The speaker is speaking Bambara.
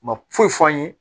U ma foyi fɔ an ye